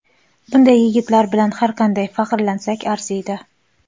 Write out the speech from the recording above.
Bunday yigitlar bilan har qancha faxrlansak arziydi.